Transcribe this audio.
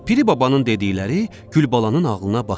Piri babanın dedikləri Gülbalanın ağlına batdı.